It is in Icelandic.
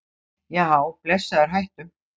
Já blessaður hættu!